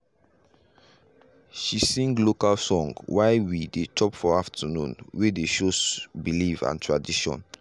she sing local song wey while we dey chop for afternoon way dey show belief and tradition.